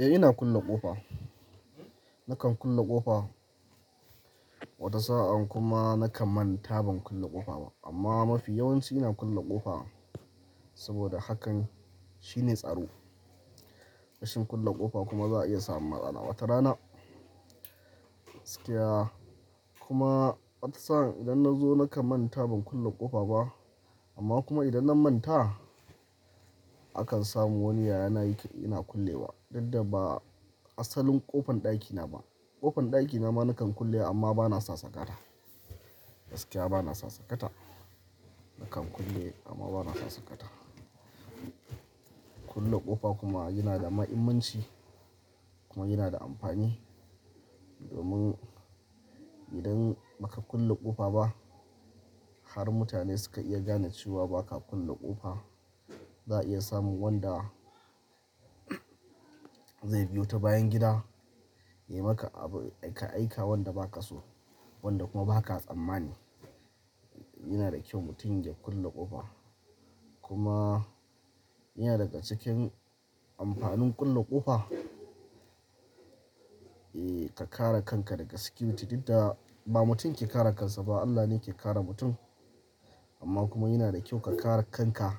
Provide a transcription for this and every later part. Eh ina kulle ƙofa. Nakan kulle ƙofa wata sa'an kuma nakan manta ban kulle ƙofa ba. Amma mafi yawanci ina kulle ƙofa saboda hakan shine tsaro. Rashin kulle ƙofa kuma za a iya samun matsala wata rana. Gaskiya kuma wata sa'an idan na zo na manta ban kulle ƙofa ba amma kuma idan na manta, akan samu wani yaya na yake ina kullewa. Duk da ba asalin ƙofan ɗakina ba. Ƙofan ɗakina ma nakan kulle amma bana sa sakata. Gaskiya bana sa sakata. Nakan kulle amma bana sa sakata. Kulle ƙofa kuma yana da mahimmanci kuma yana da amfani domin idan baka kulle ƙofa ba har mutane suka iya gane cewa baka kulle ƙofa, za a iya samun wanda zai biyo ta bayan gida ya maka abu, ya ka aika wanda ba ka so wanda kuma ba ka tsammani. Yana da kyau mutum ya kulle ƙofa kuma yana daga cikin amfanin kulle ƙofa. Eh ka kare kanka daga tsaro duk da ba mutum ke kare kansa ba Allah ne ke kare mutum amma kuma yana da kyau ka kare kanka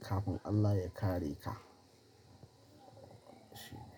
kafin Allah ya kare ka. Shi.